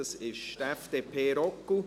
Es ist die FDP Roggwil.